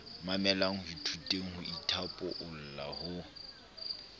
mamelang ithuteng ho ithaopola ho